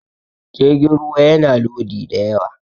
jirgin ruwa yana Lodi da yawa